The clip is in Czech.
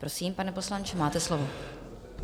Prosím, pane poslanče, máte slovo.